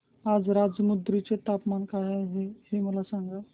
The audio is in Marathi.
आज राजमुंद्री चे तापमान काय आहे मला सांगा